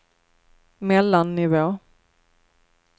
mellannivå